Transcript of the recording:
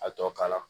A tɔ kala